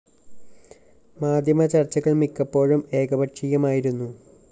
media ചര്‍ച്ചകള്‍ മിക്കപ്പോഴും ഏകപക്ഷീയമായുന്നു